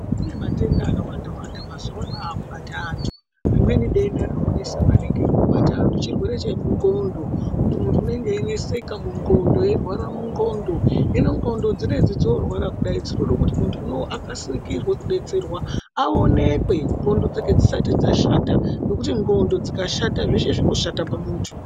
Kunematenda akawanda wanda mazuwana akubata antu, rimweni denda ririkunesa maningi raakubata antu chirwere chemu nqondo kuti muntu unenge eineseka munqondo eirwara munqondo, hino nqondo dzinedzi dzoorwara kudai dzinoda kuti muntu unowu akasikirwe kudetserwa aonekwe nqondo dzake dzisati dzashata ngekuti nqondo dzikashata zveshe zvinoshata pamuntu.